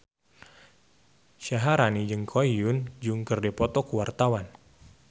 Syaharani jeung Ko Hyun Jung keur dipoto ku wartawan